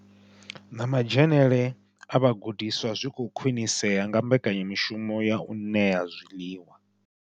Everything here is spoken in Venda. Na madzhenele a vhagudiswa zwi khou khwinisea nga mbekanya mushumo ya u ṋea zwiḽiwa.